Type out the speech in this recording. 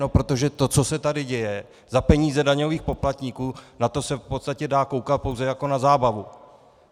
No protože to, co se tady děje za peníze daňových poplatníků, na to se v podstatě dá koukat pouze jako na zábavu.